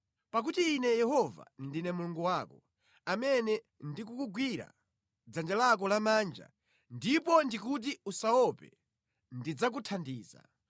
Pakuti Ine Yehova, ndine Mulungu wako, amene ndikukugwira dzanja lako lamanja ndipo ndikuti, usaope; ndidzakuthandiza.